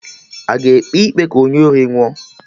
Aga ekpe ikpe ka onye ori nwụọ?